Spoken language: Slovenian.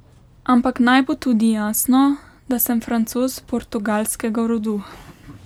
Ampak naj bo tudi jasno, da sem Francoz portugalskega rodu.